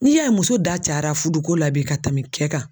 N'i y'a ye muso da cayala furuko la bi ka tɛmɛ cɛ kan